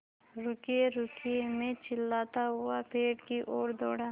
रुकिएरुकिए मैं चिल्लाता हुआ पेड़ की ओर दौड़ा